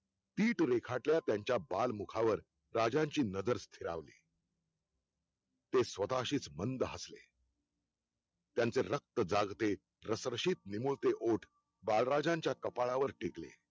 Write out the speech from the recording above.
पीठ रेखाटल्या त्यांच्या बाल मुखावर राजाची नजर फिरावली ते स्वतः शीच मंद हसले त्यांचे रक्त जागते रसरशीत निमुळते ओठ बाळराजांच्या कपाळावर टिगले